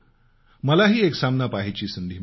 मलाही एक सामना पहायची संधी मिळाली